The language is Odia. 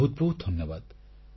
ବହୁତ ବହୁତ ଧନ୍ୟବାଦ